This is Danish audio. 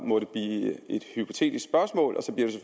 må det blive et hypotetisk spørgsmål og så bliver